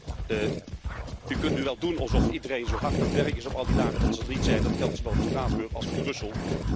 Los daarvan, u kunt nu wel doen alsof iedereen zo hard aan het werk is op al die dagen dat ze er niet zijn. Dat geldt zowel voor Straatsburg als voor Brussel.